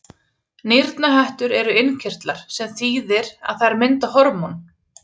Nýrnahettur eru innkirtlar, sem þýðir að þær mynda hormón.